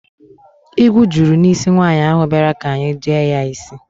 Igwu juru n'isi nwaanyị ahụ bịara ka anyị jee ya isj